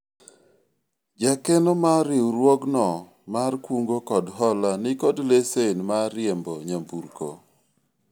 jakeno mar riwruogno mar kungo kod hola nikod lesen mar riembo nyamburko